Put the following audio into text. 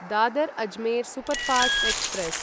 Dadar Ajmer superfast express